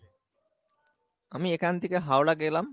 আমি এখন থেকে হাওড়া গেলাম